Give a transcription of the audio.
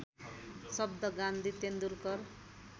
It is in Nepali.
शब्द गान्धी तेन्दुलकर